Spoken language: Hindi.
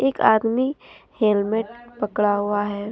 एक आदमी हेलमेट पकड़ा हुआ है।